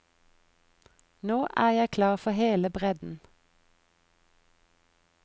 Nå er jeg klar for hele bredden.